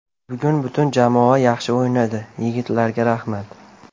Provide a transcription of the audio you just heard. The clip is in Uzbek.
Bugun butun jamoa yaxshi o‘ynadi, yigitlarga rahmat!